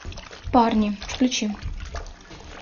парни включи